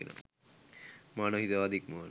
මානව හිතවාදය ඉක්මවා යන